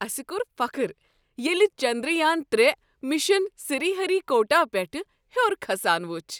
اسہ کوٚر فخر ییٚلہ چندریان ترے مِشن سِری ہری كوٹا پیٹھ ہیوٚر كھسان وُچھ۔